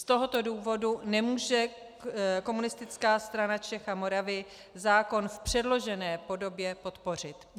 Z tohoto důvodu nemůže Komunistická strana Čech a Moravy zákon v předložené podobě podpořit.